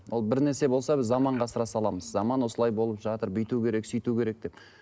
ол бір нәрсе болса біз заманға ысыра саламыз заман осылай болып жатыр бүйту керек сөйту керек деп